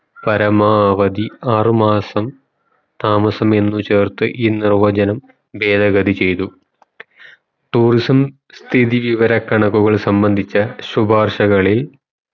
പരമാവധി ആറു മാസം താമസമെന്ന് ചേർത്ത ഈ നിർവചനം ഭേതഗതി ചയ്തു tourism സ്ഥിതി വിവര കണക്കുകൾ സംബന്ധിച്ച ശുഭാർഷകളിൽ